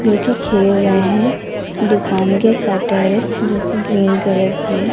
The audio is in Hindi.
जो कि खेल रहे हैं दुकान की शटर है जो कि ग्रीन कलर की है।